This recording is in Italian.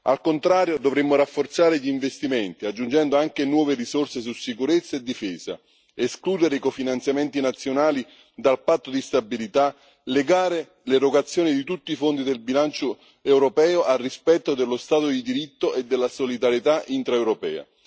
Al contrario, dovremmo rafforzare gli investimenti, aggiungendo anche nuove risorse su sicurezza e difesa, escludere i cofinanziamenti nazionali dal patto di stabilità, legare l'erogazione di tutti i fondi del bilancio europeo al rispetto dello Stato di diritto e della solidarietà intraeuropea.